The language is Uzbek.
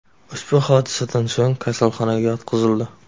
ushbu hodisadan so‘ng kasalxonaga yotqizildi.